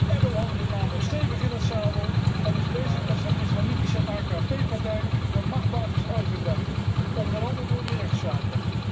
Erdoğan zit namelijk stevig in het zadel en is bezig met zijn islamitische AK partij de machtsbasis uit te breiden, onder andere door die rechtszaken.